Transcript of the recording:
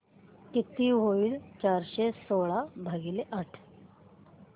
किती होईल चारशे सोळा भागीले आठ